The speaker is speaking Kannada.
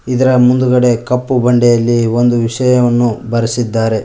ಇದರ ಮುಂದ್ಗಡೆ ಕಪ್ಪು ಬಂಡೆಯಲ್ಲಿ ಒಂದು ವಿಷಯವನ್ನು ಬರೆಸಿದ್ದಾರೆ.